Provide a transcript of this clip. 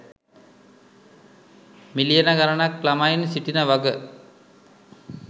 මිලියන ගණනක් ළමයින් සිටින වග.